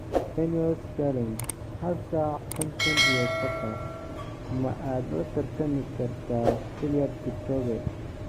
Ineos Challenge hal saac konton iyo saqa: Ma aad la tartami kartaa Eliud Kipchoge?